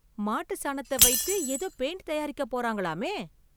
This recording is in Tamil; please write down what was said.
மாட்டு சாணத்த வைத்து ஏதோ பெயிண்ட் தயாரிக்க போறாங்கலாமே!